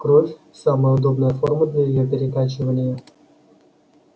кровь самая удобная форма для её перекачивания